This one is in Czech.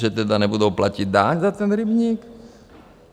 Že tedy nebudou platit daň za ten rybník?